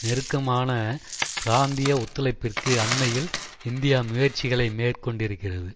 நெருக்கமான பிராந்திய ஒத்துழைப்பிற்கு அண்மையில் இந்தியா முயற்சிகளை மேற்கொண்டிருக்கிறது